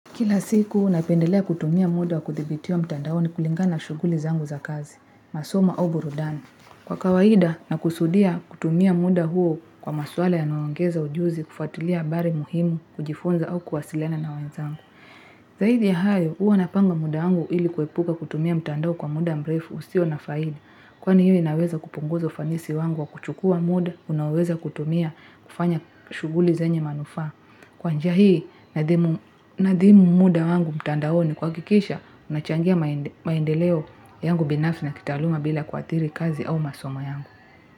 Kila siku, napendelea kutumia muda wa kuthibitiwa mtandaoni kulingana na shughuli zangu za kazi. Masomo au burudani. Kwa kawaida, nakusudia kutumia muda huo kwa maswala yanayoongeza ujuzi, kufuatilia habari muhimu, kujifunza au kuwasiliana na wenzangu. Zaidi ya hayo, huwa napanga muda wangu ili kuepuka kutumia mtandao kwa muda mrefu usio na faida. Kwani hiyo inaweza kupunguza ufanisi wangu wa kuchukua muda, unaoweza kutumia kufanya shughuli zenye manufaa. Kwa njia hii nadhimu muda wangu mtandaoni kuhakikisha unachangia maendeleo yangu binafsi na kitaaluma bila kuathiri kazi au masomo yangu.